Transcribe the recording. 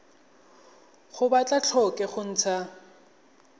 ga ba tlhoke go ntsha